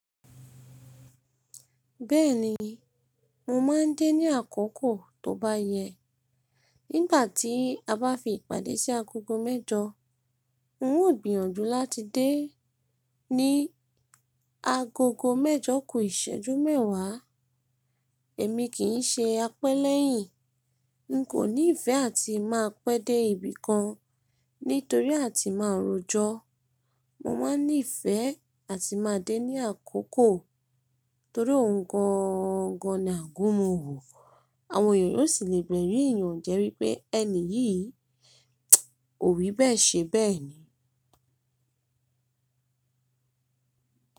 Bẹ́ẹ̀ni, mo máa ń dé ní àkókò tó bá yẹ. Nígbà tí a bá fi ìpàdé sí agogo mẹ́jọ, n ó gbìyànjú láti dé ní agogo mẹ́jọ kú ìṣẹ́jú mẹ́wàá. Èmi kì í ṣe apẹ́lẹ́yìn. N kò ní ìfẹ́ àti máa pẹ́ dé ibì kan nítorí àti máa rọjọ́. Mo máa ń nífẹ̀ẹ́ àti máa dé ní àkókò torí ó ń gangan ni àgúnmu wò. Àwọn ènìyàn sì lè gbẹ̀rìyìn ìyànjẹ́ wípé ẹni yìí ò wí bẹ́ẹ̀ ṣe bẹ́ẹ̀ ni.